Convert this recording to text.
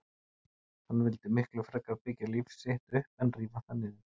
Hann vildi miklu frekar byggja líf sitt upp en rífa það niður.